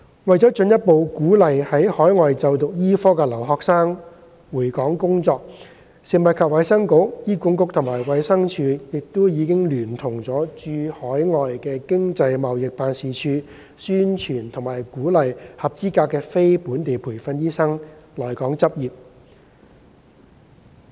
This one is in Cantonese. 為了進一步鼓勵在海外就讀醫科的留學生回港工作，食物及衞生局、醫管局及衞生署亦已聯同駐海外經濟貿易辦事處，宣傳並鼓勵合資格的非本地培訓醫生來港執業。